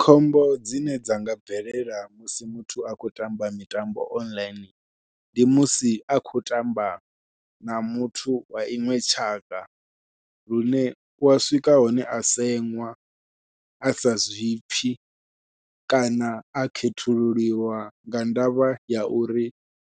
Khombo dzine dza nga bvelela musi muthu a khou tamba mitambo online ndi musi a khou tamba na muthu wa iṅwe tshaka lune u wa swika hune a seṅwa a sa zwipfhi kana a khethululiwa nga ndavha ya uri